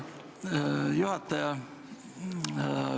Hea juhataja!